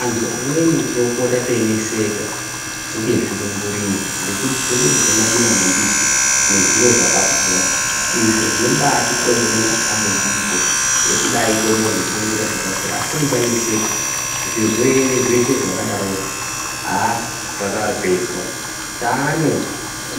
Antu amweni tinopota teineseka ngezvirungurira ngekuti tinode kurya madima mambishi nezviro zvakapora. Izvo zvinobatikonzere matambudziko ekudai tobude nezvirungurira zvakakura asi musaneseka. Zvirwere zveshe zvakadarozvo, haa zvakapedzwa. Taane